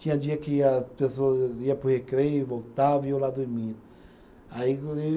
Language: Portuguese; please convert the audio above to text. Tinha dia que a pessoas ia para o recreio, voltava e eu lá dormindo. Aí